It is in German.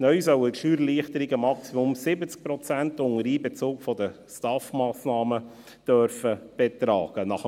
Neu sollen die Steuererleichterungen, unter dem Einbezug der STAF-Massnahmen, maximal 70 Prozent betragen dürfen.